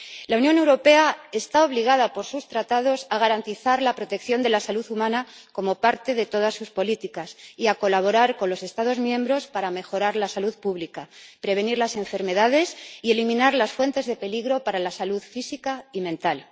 La Unión Europea está obligada por sus Tratados a garantizar la protección de la salud humana como parte de todas sus políticas y a colaborar con los Estados miembros para mejorar la salud pública, prevenir las enfermedades y eliminar las fuentes de peligro para la salud física y mental.